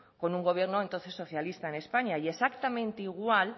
con un gobierno entonces socialista en españa y exactamente igual